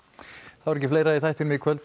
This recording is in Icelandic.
þá er ekki fleira í þættinum í kvöld við